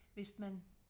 Hvis man